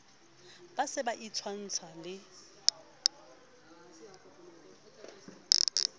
ba se ba itshwantsha le